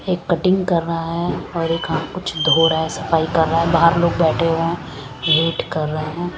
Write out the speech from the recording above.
एक कटिंग कर रहा है और एक आ कुछ धो रहा है सफाई कर रहा है बहर लोग बैठे हुए है वेट कर रहे है।